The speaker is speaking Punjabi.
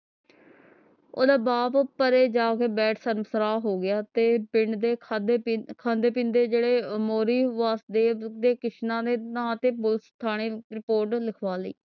ਓਹਦਾ ਬਾਪ ਪਰੇ ਜਾਕੇ ਬੈਠ ਸ਼ਰਮਸਾਰ ਹੋ ਗਿਆ ਤੇ ਪਿੰਡ ਦੇ ਖਾਦੇ ਪੀ ਖਾਂਦੇ ਪਿੰਦੇ ਜੇਡੇ ਮੋਹਰੀ ਵਾਸੁਦੇਵ ਨੇ ਕਿਸਨਾ ਦੇ ਨਾਂ ਤੇ ਪੁਲਸ ਥਾਣੇ report ਲਿਖਵਾ ਲਈ